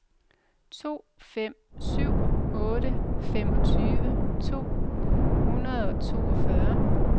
to fem syv otte femogtyve to hundrede og toogfyrre